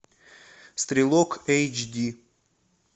стрелок эйч ди